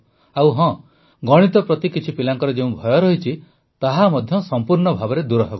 ଆଉ ହଁ ଗଣିତ ପ୍ରତି କିଛି ପିଲାଙ୍କର ଯେଉଁ ଭୟ ରହିଛି ତାହା ମଧ୍ୟ ସମ୍ପୂର୍ଣ୍ଣ ଭାବେ ଦୂରହେବ